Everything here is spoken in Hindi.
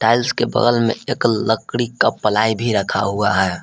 टाइल्स के बगल में एक लकड़ी का पलाई भी रखा हुआ है।